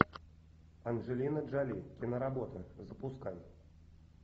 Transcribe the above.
анджелина джоли киноработа запускай